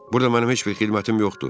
Burda mənim heç bir xidmətim yoxdur.